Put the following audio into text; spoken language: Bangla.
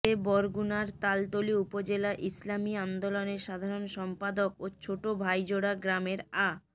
সে বরগুনার তালতলী উপজেলা ইসলামী আন্দোলনের সাধারণ সম্পাদক ও ছোট ভাইজোড়া গ্রামের আ